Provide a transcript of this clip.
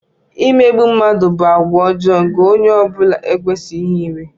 Imegbu mmadụ bụ àgwà ọjọọ nke onye ọ bụla ekwesịghị inwe.